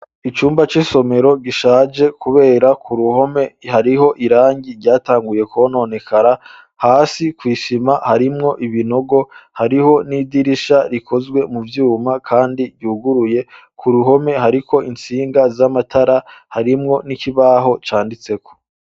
Icumba c'isomero, gishaje, kubera ku ruhome, hariho irangi, ryatanguye kwononekara; hasi kw'isima, harimwo ibinogo; hariho n'idirisha, rikozwe mu vyuma, kandi ryuguruye; ku ruhome, hariko intsinga z'amatara, harimwo n'ikibaho canditseko.